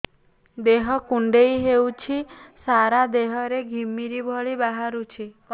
ଦେହ କୁଣ୍ଡେଇ ହେଉଛି ସାରା ଦେହ ରେ ଘିମିରି ଭଳି ବାହାରୁଛି